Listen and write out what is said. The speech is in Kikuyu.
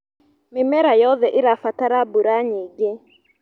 Mĩmera yothe ĩrabatara mbura nyingĩ.